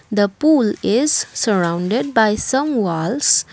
the pool is surrounded by some walls.